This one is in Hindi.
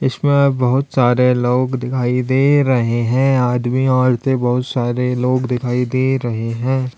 इसमें बोहोत सारे लोग दिखाई दे रहे हैं। आदमी औरतें बोहोत सारे लोग दिखाई दे रहे हैं।